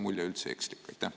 Või on see mulje ekslik?